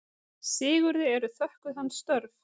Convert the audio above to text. Sigurði eru þökkuð hans störf.